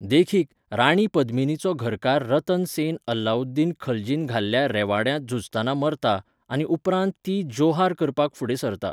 देखीक, राणी पद्मिनीचो घरकार रतन सेन अलाउद्दीन खलजीन घाल्ल्या रेवाड्यांत झुजतना मरता, आनी उपरांत ती जोहार करपाक फुडें सरता.